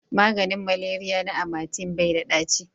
maganin maleriya na amatem bai da ɗaci